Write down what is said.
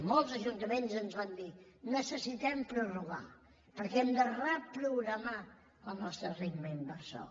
molts ajuntaments ens van dir necessitem prorrogar perquè hem de reprogramar el nostre ritme inversor